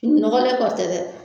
Fini nɔgɔ de tɔ tɛ dɛ.